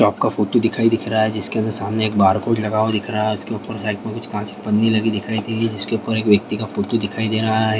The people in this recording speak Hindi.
शॉप का फोटो दिखाई दिख रहा है जिसके अंदर सामने एक बारकोड लगा हुआ दिख रहा है उसके ऊपर साइड में कुछ काँच की पन्नी लगी दिख रही थी जिसके ऊपर एक व्यक्ति का फोटो दिखाई दे रहा है।